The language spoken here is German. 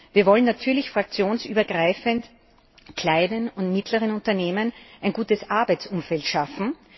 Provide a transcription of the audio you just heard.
Wir wollen natürlich fraktionsübergreifend kleinen und mittleren Unternehmen ein gutes Arbeitsumfeld schaffen.